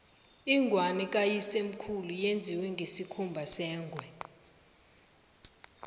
ingwani kayisemkhulu yenziwe ngesikhumba sengwe